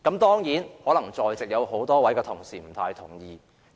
當然，可能在席多位同事不太同意這個說法。